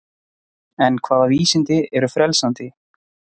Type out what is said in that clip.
En hvaða vísindi eru frelsandi?